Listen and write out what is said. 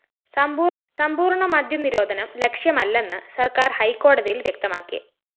സമ്പൂര്‍ണ്ണ മദ്യനിരോധനം ലക്ഷ്യമല്ലെന്ന് സര്‍ക്കാര്‍ ഹൈക്കോടതിയില്‍ വ്യക്തമാക്കി